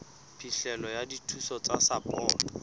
phihlelo ya dithuso tsa sapoto